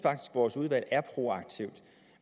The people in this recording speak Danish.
vores udvalg er proaktivt